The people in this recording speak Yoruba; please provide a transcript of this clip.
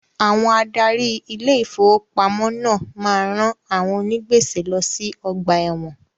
Àwọn adarí Ilé ìfowópamọ́ náà máa ń rán àwọn onì gbèsè lọ sí ọgbà ẹ̀wọ̀n.